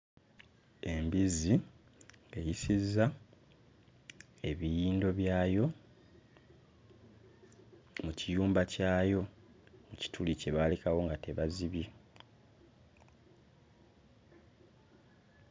Embizzi eyisizza ebiyindo byayo mu kiyumba kyayo mu kituli kye baalekawo nga tebazibye.